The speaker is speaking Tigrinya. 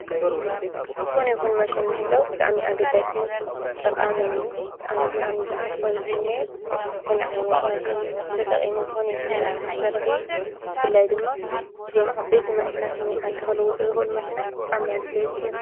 ዝኾነ ይኩን ማሽን ምህላው ብጣዕሚ ኣገዳስን ጠቓሚን እዩ። አነ ብጣዕሚ ዝሃርፎን ዝምነዮን ዝኮነ ዓይነት ማሽን ተጠቂሙ ዝኮነ ይኩን ስራሕ ንክሰርሕ እዩ። ብፍላይ ድማ እዞም ዓበይቲ ማሽናት ንዓዲ ክልዉጡ ዝክእሉ ማሽናት ብጣዕሚ ኣድለይቲ እዮም።